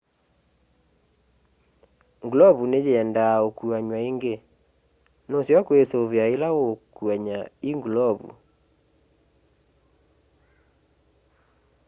ngulovu nĩyendaa ukuanw'a ingĩ nuseo kwisuvia ila uukuany'a i ngulovu